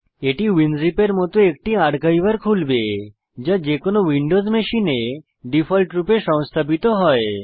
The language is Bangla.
এটি উইনজিপ এর মত একটি আর্কাইভার খুলবে যা যেকোনো উইন্ডোজ মেশিনে ডিফল্টরূপে সংস্থাপিত হয়